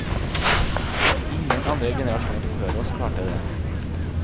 Ingen andre generasjoner før oss klarte det.